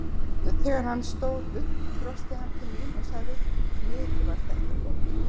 Þegar hann stóð upp brosti hann til mín og sagði: Mikið var þetta gott.